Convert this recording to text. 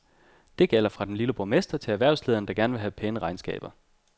Det gælder fra den lille borgmester til erhvervslederen, der gerne vil have pæne regnskaber.